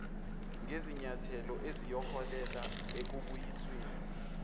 ngezinyathelo eziyoholela ekubuyisweni